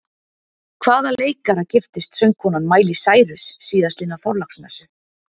Hvaða leikara giftist söngkonan Miley Cyrus síðastliðna þorláksmessu?